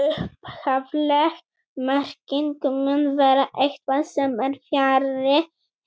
Upphafleg merking mun vera eitthvað sem er fjarri,